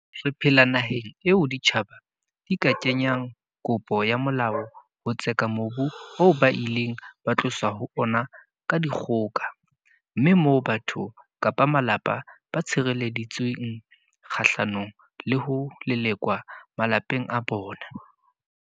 Re phela naheng eo ditjhaba di ka kenyang kopo ya molao ho tseka mobu oo ba ileng ba tloswa ho ona ka dikgoka, mme moo batho kapa malapa ba tshirele-ditsweng kgahlano le ho lelekwa malapeng a bona.